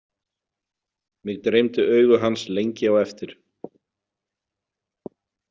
Mig dreymdi augu hans lengi á eftir.